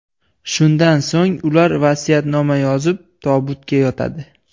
Shundan so‘ng ular vasiyatnoma yozib, tobutga yotadi.